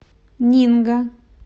нинго